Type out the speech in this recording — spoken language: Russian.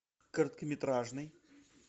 короткометражный